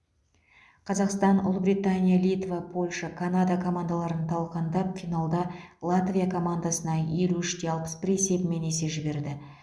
қазақстан ұлыбритания литва польша канада командаларын талқандап финалда латвия командасына елу үш те алпыс бір есебімен есе жіберді